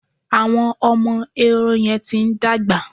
Àwọn ọmọ Ehoro yẹn ti ń dàgbà.